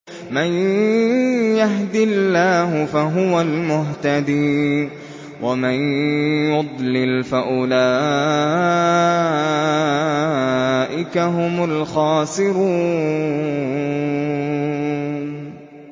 مَن يَهْدِ اللَّهُ فَهُوَ الْمُهْتَدِي ۖ وَمَن يُضْلِلْ فَأُولَٰئِكَ هُمُ الْخَاسِرُونَ